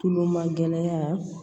Tulomagɛ